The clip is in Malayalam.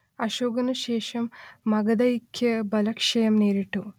അശോകനു ശേഷം മഗധയ്ക്ക് ബലക്ഷയം നേരിട്ടു